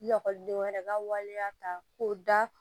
Ekɔlidenw yɛrɛ ka waleya ta k'o da